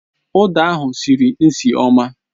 Uda ahụ sịrị nsị ọma